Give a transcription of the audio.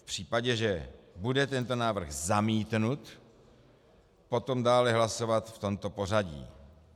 V případě, že bude tento návrh zamítnut, tak dále hlasovat v tomto pořadí: